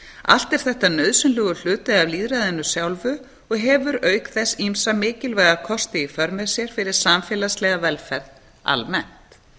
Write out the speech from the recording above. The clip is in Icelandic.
allt er þetta nauðsynlegur hluti af lýðræðinu sjálfu og hefur auk þess ýmsa mikilvæga kosti í för með sér fyrir samfélagslega velferð almennt